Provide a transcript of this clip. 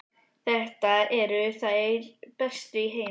Þetta eru þær bestu í heimi!